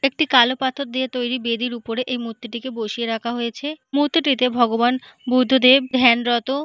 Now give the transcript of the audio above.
একটি কালো পাথর দিয়ে তৈরি বেদির উপরে এই মূর্তিটিকে বসিয়ে রাখা হয়েছে মুহূর্তটিতে ভগবান বুদ্ধদেব ধ্যানরত।